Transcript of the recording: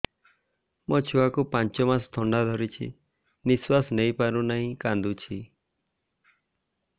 ମୋ ଛୁଆକୁ ପାଞ୍ଚ ମାସ ଥଣ୍ଡା ଧରିଛି ନିଶ୍ୱାସ ନେଇ ପାରୁ ନାହିଁ କାଂଦୁଛି